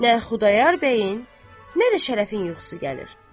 Nə Xudayar bəyin, nə də Şərəfin yuxusu gəlir.